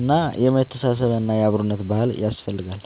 እና የመተሳሰብ እና የአብሮነት ባህል ያስፈልጋል